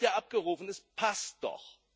Das Geld wird ja abgerufen, es passt doch.